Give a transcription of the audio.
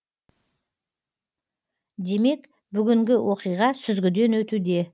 демек бүгінгі оқиға сүзгіден өтуде